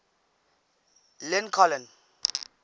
lincoln